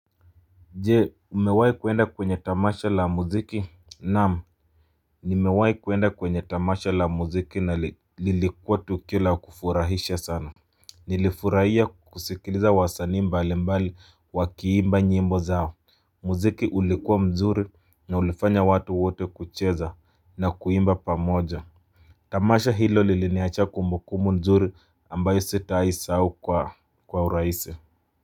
Je, umewahi kuenda kwenye tamasha la muziki? Naam. Nimewahi kuenda kwenye tamasha la muziki na lilikuwa tukio la kufurahisha sana. Nilifurahia kusikiliza wasanii mbali mbali wakiimba nyimbo zao. Muziki ulikuwa mzuri na ulifanya watu wote kucheza na kuimba pamoja. Tamasha hilo liliniacha kumbukumbu nzuri ambayo sitawahisahau kwa urahisi.